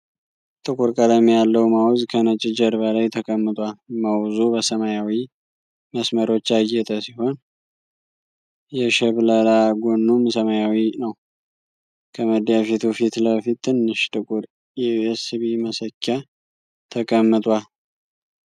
ጥቁር ቀለም ያለው ማውዝ ከነጭ ጀርባ ላይ ተቀምጧል። ማውዙ በሰማያዊ መስመሮች ያጌጠ ሲሆን፣ የሽብለላ ጎኑም ሰማያዊ ነው። ከመዳፊቱ ፊት ለፊት ትንሽ ጥቁር የዩኤስቢ መሰኪያ ተቀምጧል።